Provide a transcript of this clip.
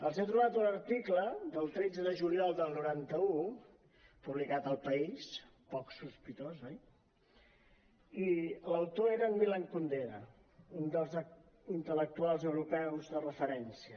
els he trobat un article del tretze de juliol del noranta un publicat a el país poc sospitós oi i l’autor era en milan kundera un dels intel·lectuals europeus de referència